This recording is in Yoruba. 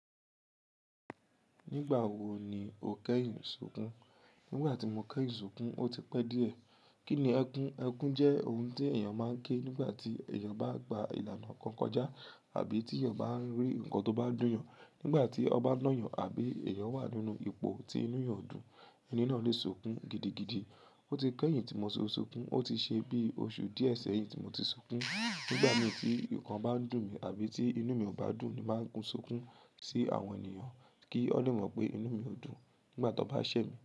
Nígbà wo ni o kẹ́yìn ṣukùn? Nígbà tí mo kẹ́yìn ṣukùn, ó ti pẹ́ díẹ̀. Kí ni ẹkún? Ẹkún jẹ́ ohun ti èèyàn máa ń ké nígbà tí èèyàn bá gba ìlànà kan kọjá àbí tí èèyàn bá ń rí nǹkan tó bá dùn yàn. Nígbà tí ọba ń ná yàn àbí èèyàn wà nínú ipò tí inú yàn dùn, ẹni náà lè ṣukùn gidigidi. Ó ti kẹ́yìn tí mo ṣu ṣukùn. Ó ti ṣe bí oṣù díẹ̀ sẹ́yìn tí mo ti ṣukùn. Nígbà mí tí nnkan bá n dùn mi àbí tí inú mi ò bá dùn, ni màá ń kun ṣukùn sí àwọn ènìyàn kí ọ́ n lè mọ̀ pé inú mi ò dùn nígbà tó bá ṣẹ̀ mí.